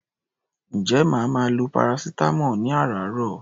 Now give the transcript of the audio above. Ǹjẹ́ màá máa lo paracetamol ní àràáàrọ̀?